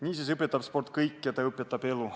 Niisiis õpetab sport kõike, ta õpetab elu.